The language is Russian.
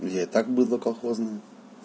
я и так быдло колхозное